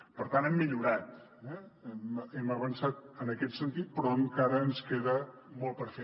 per tant hem millorat hem avançat en aquest sentit però encara ens queda molt per fer